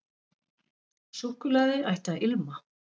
Súkkulaði ætti að ilma.